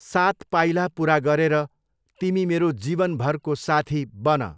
सात पाइला पुरा गरेर तिमी मेरो जीवनभरको साथी बन।